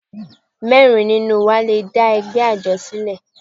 Mẹ́rin nínú wa le dá ẹgbẹ́ àjọ sílẹ̀.